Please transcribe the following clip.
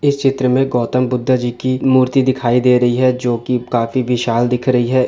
इस चित्र में गौतम बुद्ध जी की मूर्ति दिखाई दे रही हे। जो की काफी विशाल दिख रहे है।